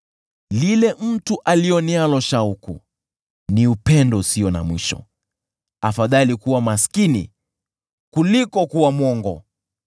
Lile mtu alionealo shauku ni upendo usio na mwisho, afadhali kuwa maskini kuliko kuwa mwongo.